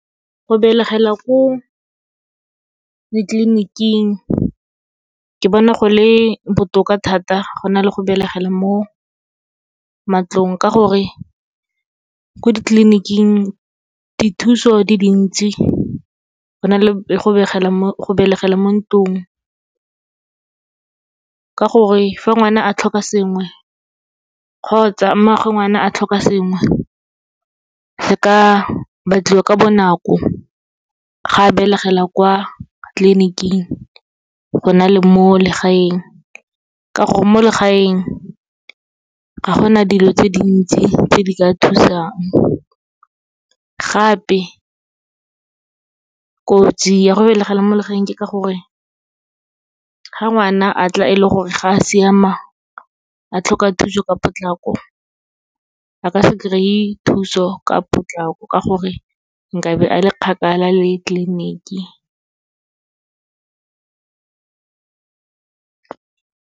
Go belegela ko ditleliniking, ke bona go le botoka thata go na le go belegela mo matlong, ka gore ko ditleliniking dithuso di dintsi, go na le go belegela mo ntlong. Ka gore, fa ngwana a tlhoka sengwe kgotsa mmaagwe ngwana a tlhoka sengwe, go ka batliwa ka bonako ga belegela kwa tleliniking, go na le mo legaeng, ka gore mo legaeng ga gona dilo tse dintsi tse di ka thusang. Gape, kotsi ya go belegela mo legaeng ke ka gore, ga ngwana a tla e le gore ga a siama, a tlhoka thuso ka potlako, a ka se kry-e thuso ka potlako, ka gore nka be a le kgakala le tleliniki.